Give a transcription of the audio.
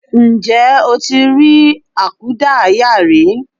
Ǹjẹ́ o ti rí àkúdáàyá rí?